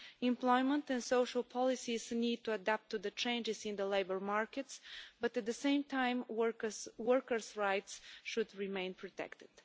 Employment and social policies need to adapt to the changes in the labour markets, but at the same time workers' rights should remain protected.